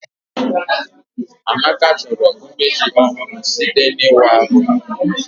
Amaka chọrọ umeji ọhụrụ site n'ịwa ahụ